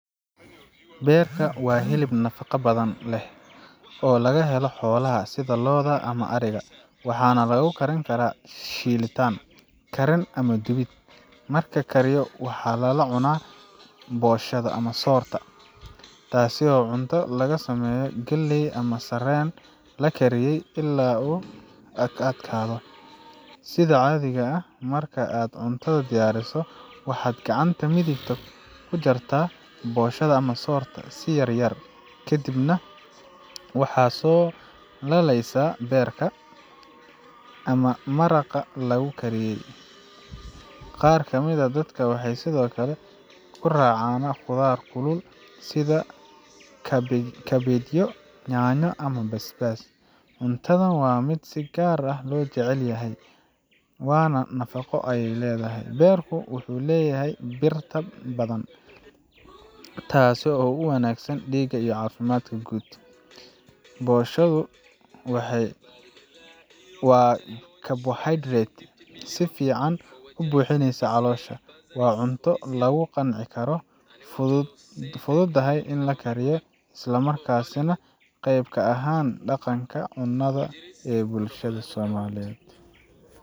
Beerka waa hilib nafaqo badan leh oo laga helo xoolaha sida lo’da ama ariga, waxaana lagu karin karaa shiil tan, kariin ama dubid. Marka la kariyo, waxaa lala cunaa ugali, taas oo ah cunto laga sameeyo galley ama sarreen la kariyey ilaa uu ka adkaado. Sida caadiga ah, marka aad cuntada diyaarsato, waxaad gacanta midig ku jartaa ugali ga si yar yar, kadibna waxaad ku laalaystaa beerka ama maraqa lagu kariyey. Qaar ka mid ah dadka waxay sidoo kale ku raacaan khudaar kulul sida kabeebyo, yaanyo, ama basbaas. Cuntadan waa mid si gaar ah loo jecel yahay, waana nafaqo leh beerku wuxuu leeyahay bir badan, taasoo u wanaagsan dhiigga iyo caafimaadka guud. bosha duguna waa [s]carbohaydarate si fiican u buuxinaya caloosha. Waa cunto lagu qanci karo, fududahay in la kariyo, isla markaana qayb ka ah dhaqanka cunnada ee bulshada.